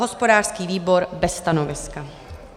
Hospodářský výbor bez stanoviska.